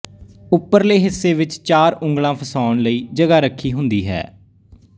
ਉਪਰਲੇ ਹਿੱਸੇ ਵਿੱਚ ਚਾਰ ਉਂਗਲਾਂ ਫਸਾਉਣ ਲਈ ਜਗ੍ਹਾ ਰੱਖੀ ਹੁੰਦੀ ਹੈ